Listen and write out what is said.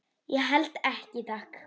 Ég held ekki, takk.